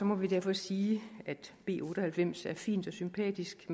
må vi derfor sige at b otte og halvfems er et fint og sympatisk